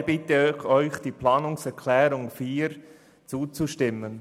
Daher bitte ich Sie, der Planungserklärung 4 zuzustimmen.